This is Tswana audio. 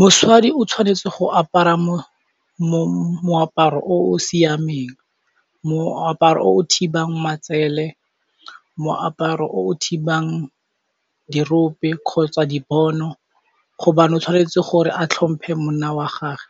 Mosadi o tshwanetse go apara moaparo o o siameng, moaparo o o thibang matsele, moaparo o o thibang dirope kgotsa dibono hobane o tshwanetse gore a tlhomphe monna wa gage.